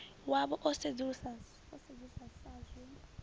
wavho o sedzuluswa sa zwe